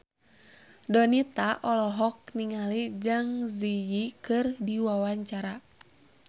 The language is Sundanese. Donita olohok ningali Zang Zi Yi keur diwawancara